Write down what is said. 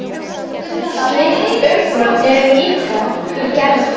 Slík umbrot eru líka í Gerði.